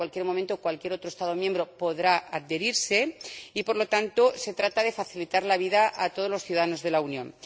en cualquier momento, cualquier otro Estado miembro podrá adherirse, y, por lo tanto, se trata de facilitar la vida a todos los ciudadanos de la Unión.